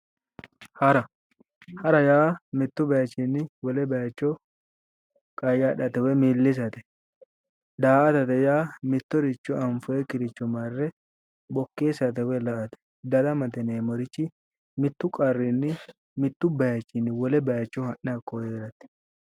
Hara hara yaa mittu batichinni wole bayicho qayyadhate woyi millisate. Daa'atate yaa mittoricho anfoyikkiricho marre bokkeessate woyi la'ate . Daramate yineemmorichi mittu qarrinni mittu bayichinni ha'ne wole bayicho heerate